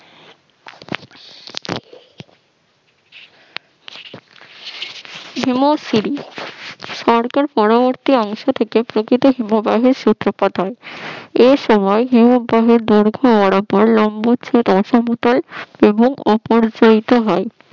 হিমেশ শরী পরবর্তী অংশ থেকে প্রকৃত হিমবাহের সূত্রপাত হয় এই সময় হিমবাহের দৈর্ঘ্য লম্ব চ্ছেদ অংশ দুটো এবং অপর জায়িত হয়